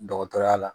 Dɔgɔtɔrɔya la